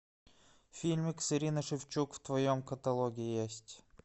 фильмик с ириной шевчук в твоем каталоге есть